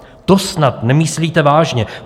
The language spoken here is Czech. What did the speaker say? To snad nemyslíte vážně?